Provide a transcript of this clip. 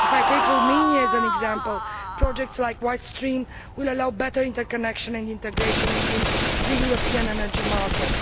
To take Romania as an example, projects like White Stream will allow better interconnection and integration within the European energy market.